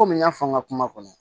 Komi n y'a fɔ n ka kuma kɔnɔ